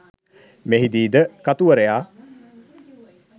මෙහිදීද කතුවරයා